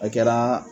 A kɛra